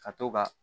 Ka to ka